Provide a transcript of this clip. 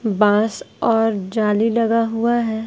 बांस और जाली लगा हुआ है।